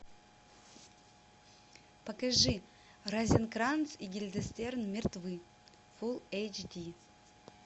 покажи розенкранц и гильденстерн мертвы фул эйч ди